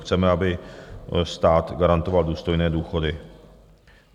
Chceme, aby stát garantoval důstojné důchody.